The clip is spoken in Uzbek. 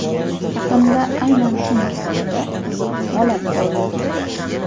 Yaqinda aynan shu masalada qiziq holat bo‘ldi.